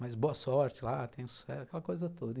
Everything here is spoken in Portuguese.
Mas boa sorte lá, tenha sucesso, aquela coisa toda.